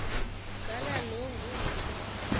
gala lo ngumthi